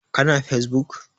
Ka na fesbuk?